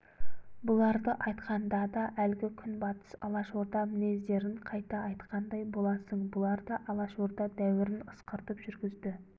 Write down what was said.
бұларды айтқанда да әлгі күнбатыс алашорда мінездерін қайта айтқандай боласың бұлар да алашорда дәуірін ысқыртып жүргізді